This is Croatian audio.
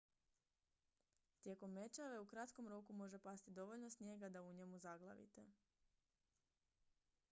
tijekom mećave u kratkom roku može pasti dovoljno snijega da u njemu zaglavite